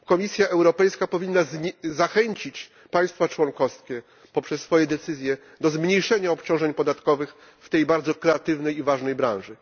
Komisja Europejska powinna zachęcić państwa członkowskie poprzez swoje decyzje do zmniejszenia obciążeń podatkowych w tej bardzo kreatywnej i ważnej branży.